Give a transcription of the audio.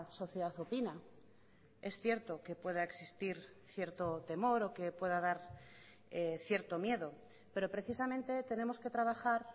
sociedad opina es cierto que pueda existir cierto temor o que pueda dar cierto miedo pero precisamente tenemos que trabajar